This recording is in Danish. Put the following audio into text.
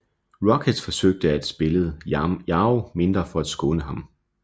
Rockets forsøgte at spillede Yao mindre for at skåne ham